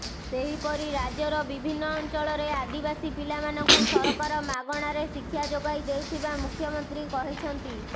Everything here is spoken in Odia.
ସେହିପରି ରାଜ୍ୟର ବିଭିନ୍ନ ଅଞ୍ଚଳରେ ଆଦିବାସୀ ପିଲାମାନଙ୍କୁ ସରକାର ମାଗଣାରେ ଶିକ୍ଷା ଯୋଗାଇ ଦେଉଥିବା ମୁଖ୍ୟମନ୍ତ୍ରୀ କହିଛନ୍ତି